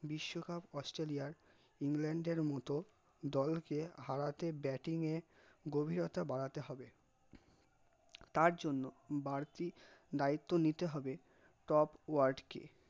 বিশ্বকাপ অস্ট্রালইয়ার ইংল্যান্ড এর মতো দল কে হারাতে batting এ গভীরতা বাড়াতে হবে তার জন্য বাড়তি দায়িত্ব নিতে হবে top word কে